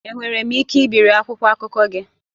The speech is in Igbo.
Enwere m ike ibiri akwụkwọ akụkọ gị?